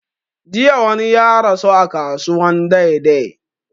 Jiya wani ya rasu a kasuwan dei dei